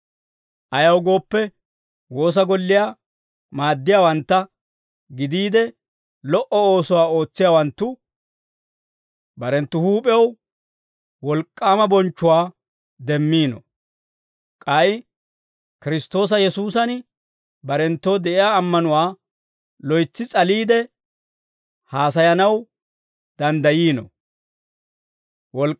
Ayaw gooppe, woosa golliyaa maaddiyaawantta gidiide, lo"o oosuwaa ootsiyaawanttu barenttu huup'ew wolk'k'aama bonchchuwaa demmiino; k'ay Kiristtoosa Yesuusan barenttoo de'iyaa ammanuwaa loytsi s'aliide haasayanaw danddayiino.